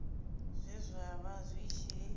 zwe zwa vha zwi tshi